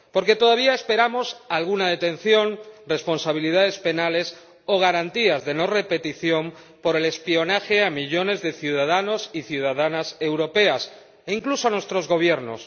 Porque todavía esperamos alguna detención, responsabilidades penales o garantías de no repetición por el espionaje a millones de ciudadanos y ciudadanas europeas e incluso a nuestros Gobiernos.